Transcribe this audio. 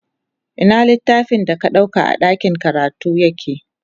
Ina littafin da ka ɗauka a ɗakin karatu yake?